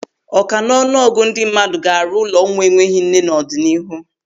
Ọka n'ọnụ ọgụ ndị mmadụ ga-arụ ụlọ ụmụ enweghị nne n'ọdịnihu.